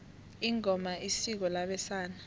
ingoma isiko labesana